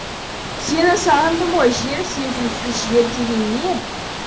сені сағындым ғой жер сезімсіз жер деген не